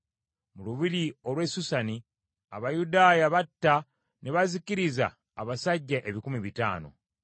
Mu lubiri olw’e Susani, Abayudaaya batta ne bazikiriza abasajja ebikumi bitaano.